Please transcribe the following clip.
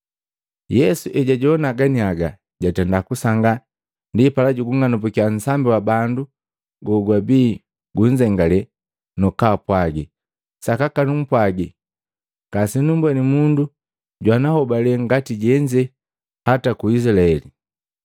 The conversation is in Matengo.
Yesu ejajoana ganiaga, jatenda kusangaa ndipala jugung'anumbukya nsambi wa bandu gogwabia gunzengalee, nukugupwagi, “Sakaka numpwaji ngasenumbweni mundu jwana hobale ngati jenze hata ku Izilaeli!”